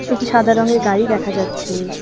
এটি সাদা রঙের গাড়ি দেখা যাচ্ছে।